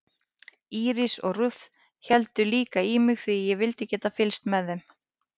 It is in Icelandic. Íris og Ruth héldu líka í mig því ég vildi geta fylgst með þeim.